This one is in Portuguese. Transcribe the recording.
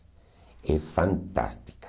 É fantástica.